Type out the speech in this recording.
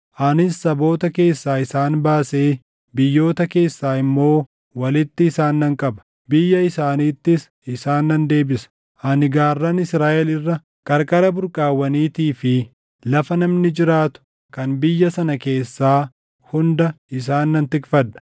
Anis saboota keessaa isaan baasee biyyoota keessaa immoo walitti isaan nan qaba; biyya isaaniittis isaan nan deebisa. Ani gaarran Israaʼel irra, qarqara burqaawwaniitii fi lafa namni jiraatu kan biyya sana keessaa hunda isaan nan tikfadha.